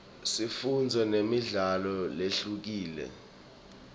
sifundzo nemidlalo lehlukile